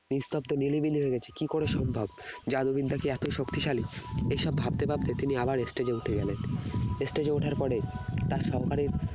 নিস্তব্ধ নিরিবিলি হয়ে গেছে কি করে সম্ভব জাদু বিদ্যা কি এতই শক্তিশালী এসব ভাবতে ভাবতে তিনি আবার stage এ উঠে গেলেন stage এ ওঠার পরে তার সহকারীর